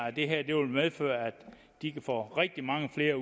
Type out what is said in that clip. at det her vil medføre at de kan få rigtig mange flere